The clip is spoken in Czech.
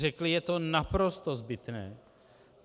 Řekli: je to naprosto zbytné.